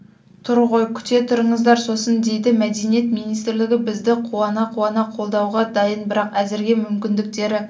тұр ғой күте тұрыңыздар сосын дейді мәдениет министрлігі бізді қуана-қуана қолдауға дайын бірақ әзірге мүмкіндіктері